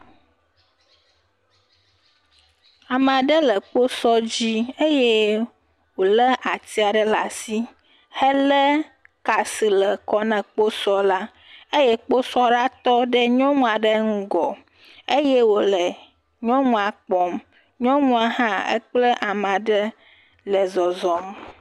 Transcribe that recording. Ame aɖe bɔbɔ nɔ kposɔ dzi eye wòlé ati aɖe le asi helé ka si le kɔ na kposɔla eye kposɔla tɔ ɖe nyɔnua ɖe ŋgɔ eye wòle nyɔnua kpɔm. Nyɔnua hã ekple amaa ɖe le zɔzɔm.